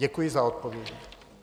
Děkuji za odpověď.